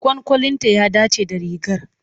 Kwankwalinta ya dace da rigar.